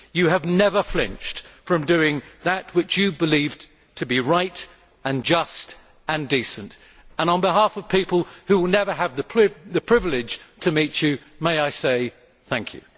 You have never flinched from doing that which you believed to be right and just and decent and, on behalf of people who will never have the privilege to meet you, may I say thank you.